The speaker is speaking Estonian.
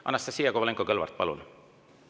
Anastassia Kovalenko-Kõlvart, palun!